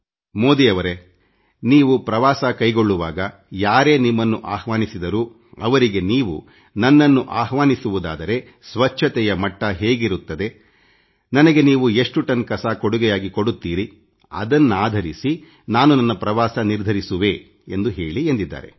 ಮೋದಿ ಅವರೇ ನೀವು ಪ್ರವಾಸ ಕೈಗೊಳ್ಳುವಾಗ ಯಾರೇ ನಿಮ್ಮನ್ನು ಅಹ್ವಾನಿಸಿದರೂ ಅವರಿಗೆ ನೀವು ನನ್ನನ್ನು ಆಹ್ವಾನಿಸುವುದಾದರೆ ಸ್ವಚ್ಛತೆಯ ಮಟ್ಟ ಹೇಗಿರುತ್ತದೆನನಗೆ ನೀವು ಎಷ್ಟು ಟನ್ ಕಸ ಕೊಡುಗೆಯಾಗಿ ಕೊಡುತ್ತೀರಿಅದನ್ನಾಧರಿಸಿ ನಾನು ನನ್ನ ಪ್ರವಾಸ ನಿರ್ಧರಿಸುವೆ ಎಂದು ಹೇಳಿ ಎಂದಿದ್ದಾರೆ